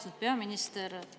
Austatud peaminister!